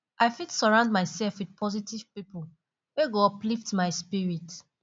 i fit surround myself with positive pipo wey go uplift my spirit